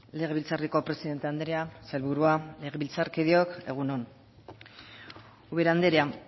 legebiltzarreko presidente andrea sailburua legebiltzarkideok egun on ubera andrea